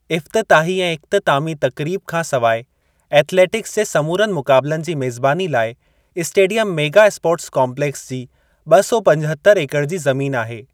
इफ़्तिताही ऐं इख़्तितामी तक़रीब खां सवाइ एथलेटिक्स जे समूरनि मुक़ाबलनि जी मेज़बानी लाइ इस्टेडियम मेगा स्पोर्ट्स कम्पलैक्स जी ॿ सौ पचहत्तर ऐकड़ जी ज़मीन आहे।